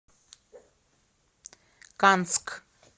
канск